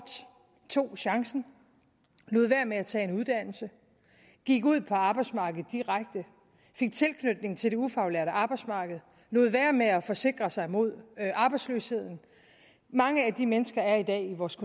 tog chancen og lod være med at tage en uddannelse gik ud på arbejdsmarkedet direkte fik tilknytning til det ufaglærte arbejdsmarked og lod være med at forsikre sig mod arbejdsløshed mange af de mennesker er i dag i vores